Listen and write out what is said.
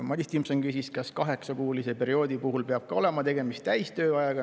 Madis Timpson küsis, kas kaheksakuulise perioodi puhul peab olema tegemist täistööajaga.